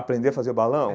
Aprender a fazer balão?